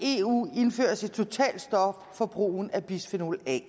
i eu indføres et totalt stop for brugen af bisfenol a